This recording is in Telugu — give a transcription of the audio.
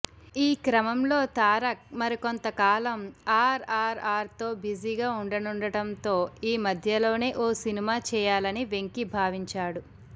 ఈ క్రమంలో తారక్ మరికొంత కాలం ఆర్ఆర్ఆర్తో బిజగా ఉండనుండటంతో ఈ మధ్యలోనే ఓ సినిమా చేయాలని వెంకీ భావించాడు